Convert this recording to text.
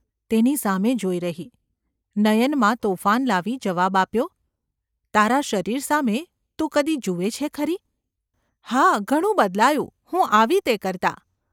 તેની સામે જોઈ રહી, નયનમાં તોફાન લાવી જવાબ આપ્યો : ‘તારા શરીર સામે તું કદી જુએ છે ખરી ?’ ‘હા, ઘણું બદલાયું, હું આવી તે કરતાં.